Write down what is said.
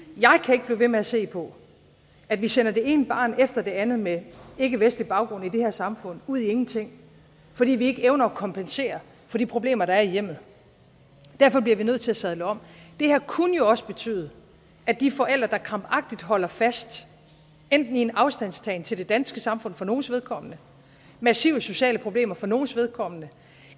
og ved med at se på at vi sender det ene barn efter det andet med ikkevestlig baggrund i det her samfund ud i ingenting fordi vi ikke evner at kompensere for de problemer der er i hjemmet derfor bliver vi nødt til at sadle om det her kunne jo også betyde at de forældre der krampagtigt holder fast i enten en afstandstagen til det danske samfund for nogles vedkommende massive sociale problemer for nogles vedkommende